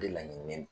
De laɲininen